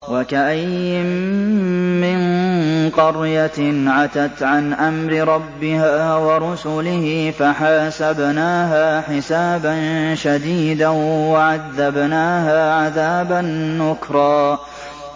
وَكَأَيِّن مِّن قَرْيَةٍ عَتَتْ عَنْ أَمْرِ رَبِّهَا وَرُسُلِهِ فَحَاسَبْنَاهَا حِسَابًا شَدِيدًا وَعَذَّبْنَاهَا عَذَابًا نُّكْرًا